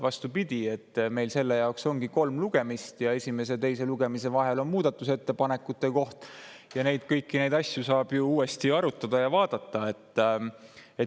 Vastupidi, meil selle jaoks ongi kolm lugemist ja esimese ja teise lugemise vahel on muudatusettepanekute koht ja kõiki neid asju saab ju uuesti arutada ja vaadata.